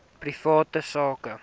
private sak